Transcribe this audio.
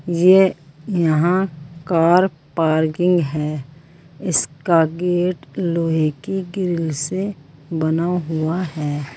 ये यहाँ car parking है इसका गेट लोहे की ग्रिल से बना हुआ है।